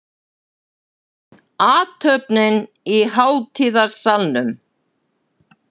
Athöfnin í hátíðasalnum